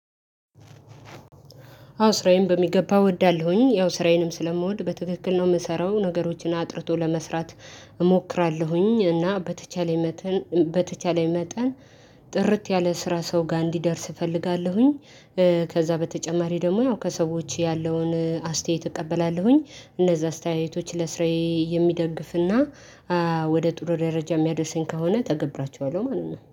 አዎ ስራዬን በሚገባ እወዳለሁኝ። ያው ስራዬንም ስለምወድ በትክክል ነው የምሰራው ነገሮችን አጥርቶ ለመስራት እሞክራለሁኝ እና በተቻለኝ መጠን በተቻለኝ መጠን ጥርት ያለ ስራ ሰው ጋር እንዲደርስ እፈልጋለሁኝ። ከዛ በተጨማሪ ደግሞ ያው ከሰዎች ያለውን አስተያየት እቀበላለሁኝ እነዛ አስተያየቶች ለስራዬ የሚደግፍና ወደ ጥሩ ደረጃ የሚያደርሰኝ ከሆነ እተገብራቸዋለሁ ማለት ነው።